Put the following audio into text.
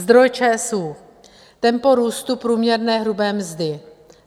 Zdroj ČSÚ. Tempo růstu průměrné hrubé mzdy.